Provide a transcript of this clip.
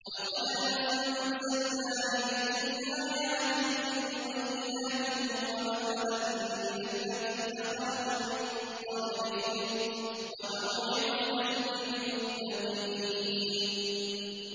وَلَقَدْ أَنزَلْنَا إِلَيْكُمْ آيَاتٍ مُّبَيِّنَاتٍ وَمَثَلًا مِّنَ الَّذِينَ خَلَوْا مِن قَبْلِكُمْ وَمَوْعِظَةً لِّلْمُتَّقِينَ